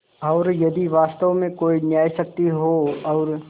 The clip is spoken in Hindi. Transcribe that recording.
और यदि वास्तव में कोई न्यायशक्ति हो और